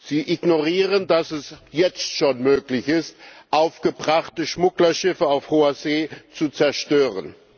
Sie ignorieren, dass es jetzt schon möglich ist, aufgebrachte Schmugglerschiffe auf hoher See zu zerstören.